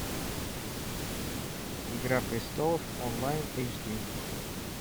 игра престолов онлайн эйч ди